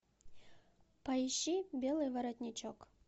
поищи белый воротничок